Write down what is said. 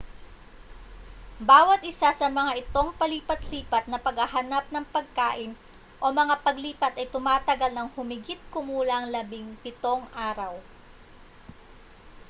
bawat isa sa mga itong palipat-lipat na paghahanap ng pagkain o mga paglipat ay tumatagal ng humigit-kumulang 17 araw